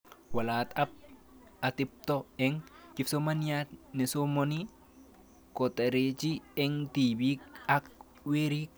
Walet ab atepto eng' kipsomaniat nesomani kotareti eng' tipik ak werik